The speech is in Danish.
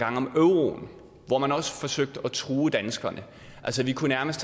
om euroen hvor man også forsøgte at true danskerne altså vi kunne nærmest